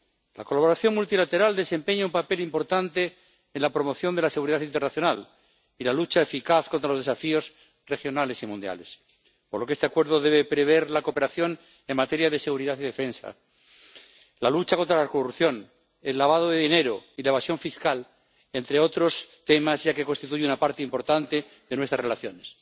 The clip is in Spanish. La colaboración multilateral desempeña un papel importante en la promoción de la seguridad internacional y la lucha eficaz contra los desafíos regionales y mundiales, por lo que este Acuerdo debe prever la cooperación en materia de seguridad y defensa, la lucha contra la corrupción, el lavado de dinero y la evasión fiscal, entre otros temas, ya que constituye una parte importante de nuestras relaciones.